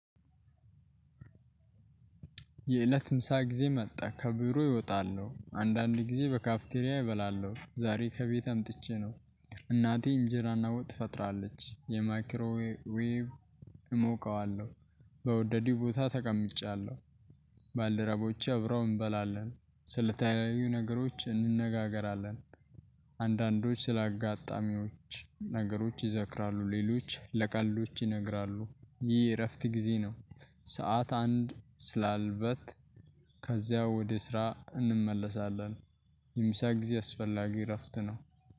የእለት ምሳ ጊዜ መጣ ከቢሮየ እወጣለሁ አንዳንድ ጊዜ በካፍቴርያ እበላለሁ ዛሬ ከቤት አምጥቼ ነው። እናቴ እንጀራና ወጥ ትፈጥራለች የማይክሮ ዌብ እሞቀዋለሁ። በወደዲው ቦታ ተቀምጫለሁ። ባልደረቦቼ አብረው እንበላለን ስልታዊው ነገሮች እንነጋገራለን። አንዳንዶች ስላጋጣሚዎች ነገሮች ይዘክራሉ ሌሎች ለቀልዶች ይነግራሉ ይህ የእረፍት ጊዜ ነው። ሰዓት አንድ ስላለበት። ከዚያ ወደ ስራ እንመለሳለን። የምሳ ጊዜ አስፈላጊ እረፍት ነው።